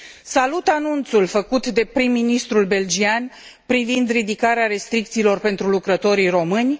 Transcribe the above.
Salut anunțul făcut de prim ministrul belgian privind ridicarea restricțiilor pentru lucrătorii români.